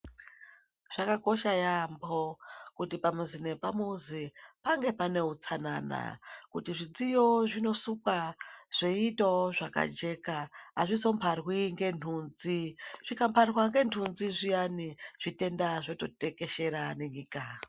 Zvakakosha yeyamho kuti pamuzi nepamuzi pange pane utsanana kuti zvitiyo zvinosukwa zveitawo zvakajeka azvizomharwi ngenhunzi, zvingamharwa ngenhunzi zviyani, zvitenda zvoto tekeshera nenyika.